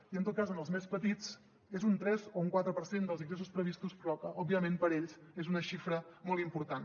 i en tot cas en els més petits és un tres o un quatre per cent dels ingressos previstos però que òbviament per a ells és una xifra molt important